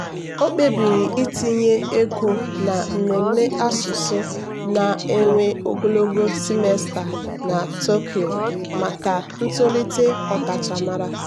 o kpebiri itinye ego na mmemme asụsụ na-ewe ogologo simesta na tokyo maka ntolite ọkachamara.